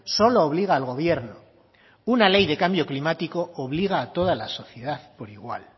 solo obliga al gobierno una ley de cambio climático obliga a toda la sociedad por igual